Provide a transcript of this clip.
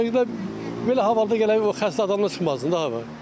Ona görə də belə havada gərək o xəstə adamlar çıxmasın da hava.